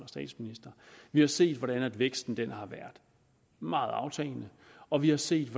statsminister vi har set hvordan væksten har været meget aftagende og vi har set